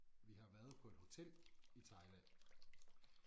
Vi har været på et hotel i Thailand